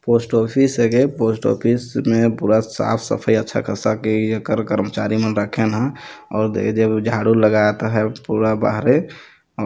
post office है गे और पोस्ट ऑफिस में पूरा साफ सफाई अच्छा खासा क्लियर कर्म कर्मचारी मन रखेन है और देई देबू झाड़ू लगायत है पूरा बाहरे अ --